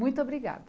Muito obrigada.